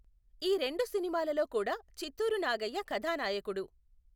ఈ రెండు సినిమాలలో కూడా చిత్తూరు నాగయ్య కథానాయకుడు.